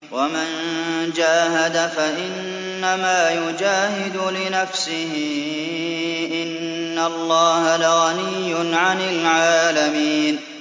وَمَن جَاهَدَ فَإِنَّمَا يُجَاهِدُ لِنَفْسِهِ ۚ إِنَّ اللَّهَ لَغَنِيٌّ عَنِ الْعَالَمِينَ